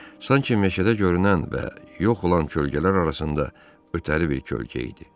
Sanki meşədə görünən və yox olan kölgələr arasında ötəri bir kölgə idi.